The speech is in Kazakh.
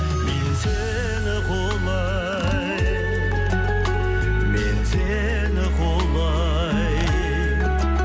мен сені құлай мен сені құлай